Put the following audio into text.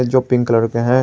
जो pink colour का है।